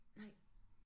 Nej